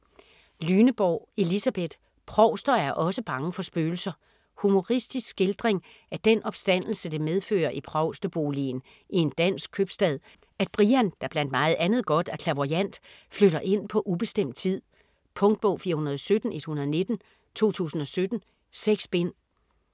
Lyneborg, Elisabeth: Provster er osse bange for spøgelser Humoristisk skildring af den opstandelse det medfører i provsteboligen i en dansk købstad, at Brian, der blandt meget andet godt er clairvoyant, flytter ind på ubestemt tid. Punktbog 417119 2017. 6 bind.